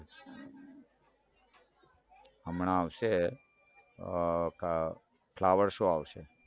હમણાં આવશે અઅ flower શો આવશે